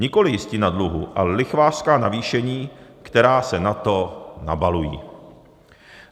Nikoli jistina dluhu, ale lichvářská navýšení, která se na to nabalují.